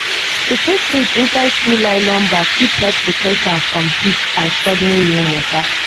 to put seed inside two nylon bag fit help protect am from heat and sudden rain water.